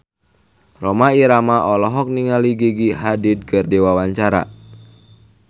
Rhoma Irama olohok ningali Gigi Hadid keur diwawancara